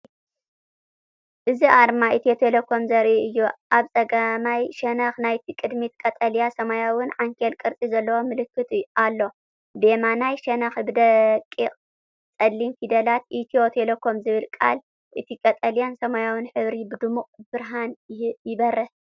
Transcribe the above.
እዚ ኣርማ ኢትዮ ቴሌኮም ዘርኢ እዩ። ኣብ ጸጋማይ ሸነኽ ናይቲ ቅድሚት ቀጠልያን ሰማያውን ዓንኬል ቅርጺ ዘለዎ ምልክት ኣሎ። ብየማናይ ሸነኽ ብደቂቕ ጸሊም ፊደላት “ኢትዮ ቴሌኮም” ዝብል ቃል፡ እቲ ቀጠልያን ሰማያውን ሕብርታት ብድሙቕ ብርሃን ይበርህ።